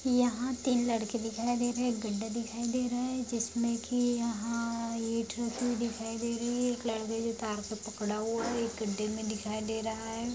यहाँ तीन लड़के दिखाई दे रहे है एक गड्ढा दिखाई दे रहा है जिसमे ईट रखी हुई दिखाई दे रही है एक लड़के ने तार को पकड़ा हुआ है एक गड्ढे में --